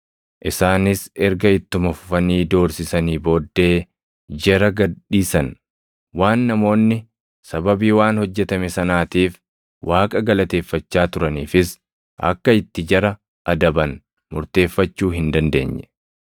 Isaanis erga ittuma fufanii doorsisanii booddee jara gad dhiisan. Waan namoonni sababii waan hojjetame sanaatiif Waaqa galateeffachaa turaniifis akka itti jara adaban murteeffachuu hin dandeenye.